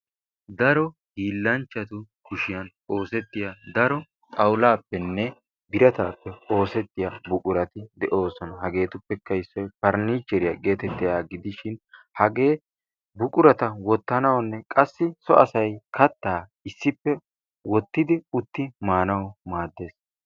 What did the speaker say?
Daro hiilanchcatu kushiyaa oosetiyaa daro xawullappenne biratappe oosetiyaa buqurati de'oosona. hagappekka issoy faranicheriyaa getettiyaaga gidishin. hagee buqurata wottanawunne qassi so asay katta issippe utti maanaw maaddees.